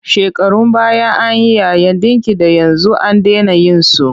Shekarun baya an yi yayin ɗinki da yanzu an dena yin su.